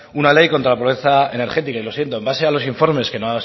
una ley contra la pobreza energética y lo siento en base a los informes que nos